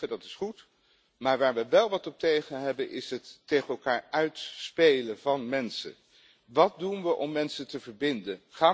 Dat is goed. Maar waar we wel wat tegen hebben, is het tegen elkaar uitspelen van mensen. Wat doen we om mensen te verbinden?